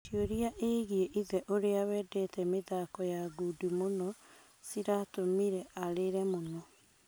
Ciũria igiĩ ithe ũria wendete mĩthako ya ngundi mũno ciratũmire arĩre muno.